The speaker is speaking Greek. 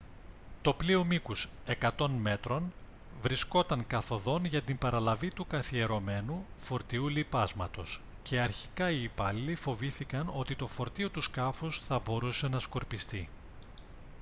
το πλοίο μήκους 100 μέτρων βρισκόταν καθ' οδόν για την παραλαβή του καθιερωμένου φορτίου λιπάσματος και αρχικά οι υπάλληλοι φοβήθηκαν ότι το φορτίο του σκάφους θα μπορούσε να σκορπιστεί